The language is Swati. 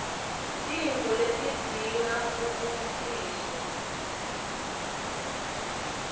tintfo letidzinga kubukisiswa